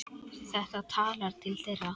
Þetta talar til þeirra.